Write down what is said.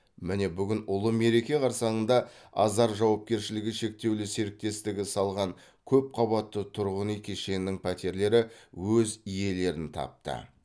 міне бүгін ұлы мереке қарсаңында азар жауапкершілігі шектеулі серіктестігі салған көпқабатты тұрғын үй кешенінің пәтерлері өз иелерін тапты